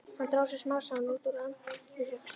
Hann dró sig smám saman út úr atvinnurekstri.